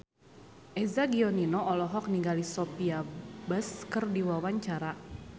Eza Gionino olohok ningali Sophia Bush keur diwawancara